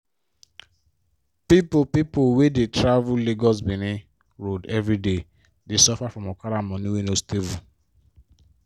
people people wey dey travel lagos-benin road everyday dey suffer from okada money wey no dey stable.